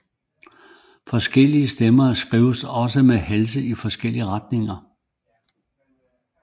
Forskellige stemmer skrives også med halsene i forskellig retning